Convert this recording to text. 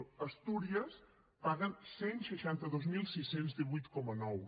a astúries paguen cent i seixanta dos mil sis cents i divuit coma nou